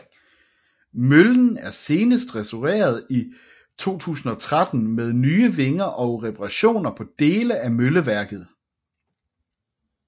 Møllen er senest restaureret i 2013 med nye vinger og reparationer på dele af mølleværket